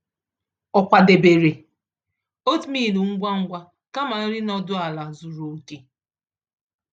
Ọ kwadebere oatmeal ngwa ngwa kama nri nọdụ ala zuru oke.